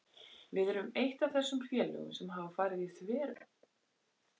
Við erum eitt af þessum félögum sem hafa farið í þveröfuga átt.